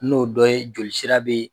N'o dɔ ye joli sira be